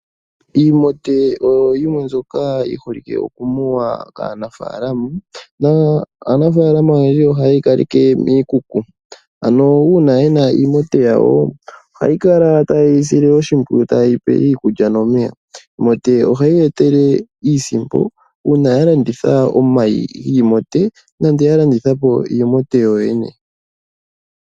Iimote oyo yimwe mbyoka yi holike okumunwa kaanafaalama, naanafaalama oyendji ohaye yi kaleke miikuku ano uuna yena iimote yawo ohaya kala taye yi sile oshimpwiyu taye yi pe iikulya nomeya. Iimote ohayi ya etele iisimpo uuna ya landitha omayi giimote nande ya landitha po iimote yo yene.